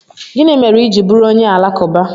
Gịnị mere i ji bụrụ onye Alakụba?